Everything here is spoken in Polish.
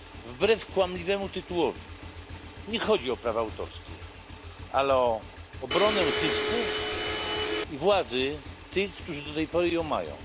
Wbrew kłamliwemu tytułowi nie chodzi o prawa autorskie, ale o obronę zysków i władzy tych, którzy do tej pory ją mają.